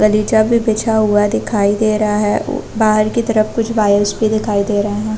गलीचा भी बिछा हुआ दिखाई दे रहा है बाहर के तरफ कुछ वायर्स भी दिखाई दे रहे है ।